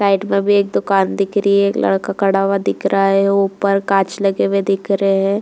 Right में भी एक दुकान दिख रही है। एक लड़का खड़ा हुआ दिख रहा है। ऊपर कांच लगे हुए दिख रहे हैं।